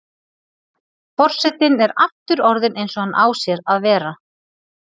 Forsetinn er aftur orðinn eins og hann á að sér að vera.